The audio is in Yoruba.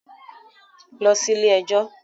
Lọ sí ilé ẹjọ́.